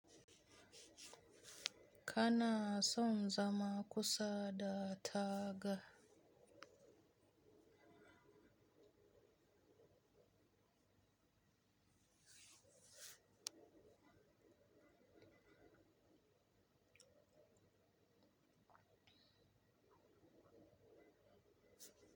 Kana son zama kusa da taga?